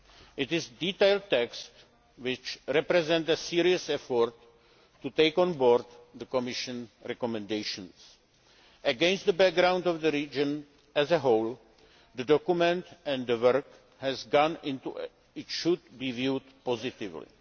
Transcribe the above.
It is a detailed text which represents a serious effort to take on board the Commission's recommendations. Against the background of the region as a whole, the document and the work that has gone into it should be viewed positively.